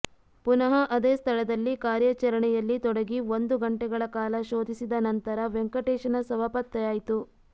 ಪುನಃ ಅದೇ ಸ್ಥಳದಲ್ಲಿ ಕಾರ್ಯಾಚರಣೆಯಲ್ಲಿ ತೊಡಗಿ ಒಂದು ಗಂಟೆಗಳ ಕಾಲ ಶೋಧಿಸಿದ ನಂತರ ವೆಂಕಟೇಶನ ಶವ ಪತ್ತೆಯಾಯ್ತು